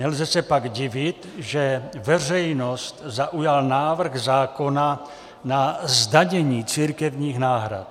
Nelze se pak divit, že veřejnost zaujal návrh zákona na zdanění církevních náhrad.